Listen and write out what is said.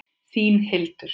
Þín, Hildur.